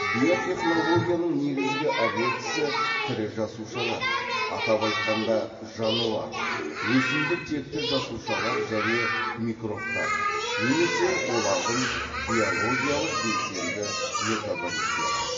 биотехнологияның негізгі объектісі тірі жасушалар атап айтқанда жануар өсімдік текті жасушалар және микробтар немесе олардың биологиялық белсенді метаболиттері